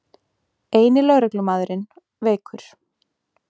Eini lögreglumaðurinn veikur